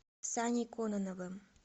саней кононовым